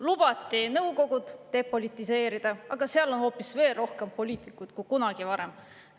Lubati nõukogud depolitiseerida, aga seal on hoopis veel rohkem poliitikuid kui kunagi varem.